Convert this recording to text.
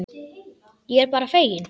Ég er bara feginn.